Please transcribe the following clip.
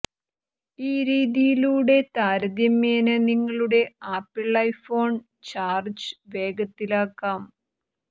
ഈ രീതിയിലൂടെ താരതമ്യേന നിങ്ങളുടെ ആപ്പിള് ഐഫോണ് ചാര്ജ്ജ് വേഗത്തിലാക്കാം